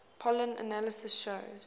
pollen analysis showing